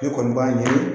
Ne kɔni b'a ɲɛɲini